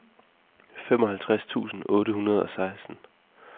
femoghalvtreds tusind otte hundrede og seksten